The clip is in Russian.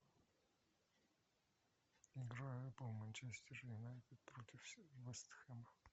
игра апл манчестер юнайтед против вест хэма